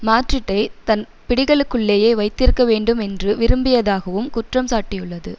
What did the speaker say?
மாட்ரிட்டைத் தன் பிடிகளுக்குள்ளேயே வைத்திருக்கவேண்டும் என்று விரும்பியதாகவும் குற்றம் சாட்டியுள்ளது